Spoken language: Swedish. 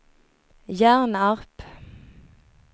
Hjärnarp